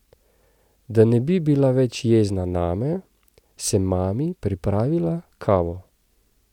Da ne bi bila več jezna name, sem mami pripravila kavo.